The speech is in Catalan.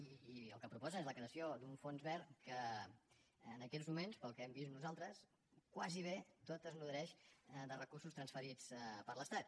i el que proposa és la creació d’un fons verd que en aquests moments pel que hem vist nosaltres gairebé tot es nodreix de recursos transferits per l’estat